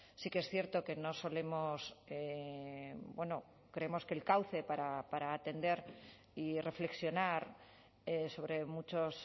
sí que es cierto que no solemos creemos que el cauce para atender y reflexionar sobre muchos